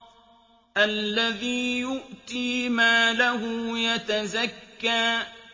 الَّذِي يُؤْتِي مَالَهُ يَتَزَكَّىٰ